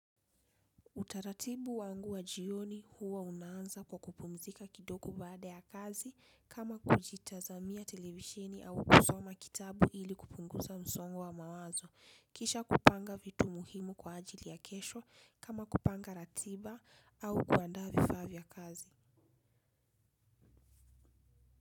Utaratibu wangu wa jioni huwa unaanza kwa kupumzika kidoko baada ya kazi kama kujitazamia televishini au kusoma kitabu ili kupungusa msongo wa mawazo. Kisha kupanga vitu muhimu kwa ajili ya kesho kama kupanga ratiba au kuanda vifa viya kazi.